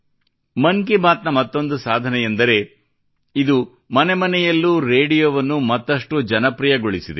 ಮನ್ ಕಿ ಬಾತ್ ನ ಮತ್ತೊಂದು ಸಾಧನೆಯೆಂದರೆ ಇದು ಮನೆ ಮನೆಯಲ್ಲೂ ರೇಡಿಯೋವನ್ನು ಮತ್ತಷ್ಟು ಜನಪ್ರಿಯಗೊಳಿಸಿದೆ